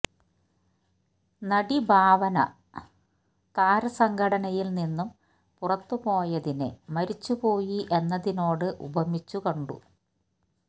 നടി ഭാവന താരസംഘടനയിൽ നിന്നും പുറത്തുപോയതിനെ മരിച്ചുപോയി എന്നതിനോട് ഉപമിച്ചു കാണ്ട